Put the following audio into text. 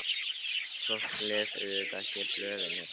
Fólk les auðvitað ekki blöðin hérna.